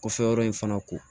Kɔfɛ yɔrɔ in fana ko